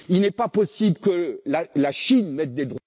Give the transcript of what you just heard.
Il n'est pas possible que la Chine mette des droits